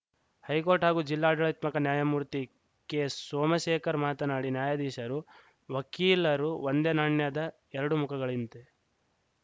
high court ಹಾಗೂ ಜಿಲ್ಲಾ ಆಡಳಿತಾತ್ಮಕ ನ್ಯಾಯಮೂರ್ತಿ ಕೆಸೋಮಶೇಖರ ಮಾತನಾಡಿ ನ್ಯಾಯಾಧೀಶರು ವಕೀಲರು ಒಂದೇ ನಾಣ್ಯದ ಎರಡು ಮುಖಗಳಿಂತೆ